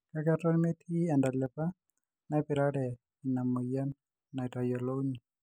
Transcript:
kake aton metii entalipa naipirare ins moyian natayolouni